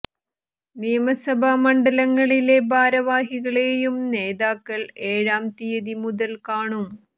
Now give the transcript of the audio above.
നിയമസഭാ മണ്ഡലങ്ങളിലെ ഭാരവാഹികളെയും നേതാക്കൾ ഏഴാം തീയതി മുതൽ കാണും